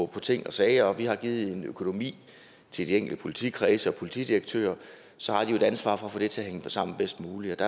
på ting og sager og vi har givet økonomi til de enkelte politikredse og politidirektører så har de jo et ansvar for at få det til at hænge sammen bedst muligt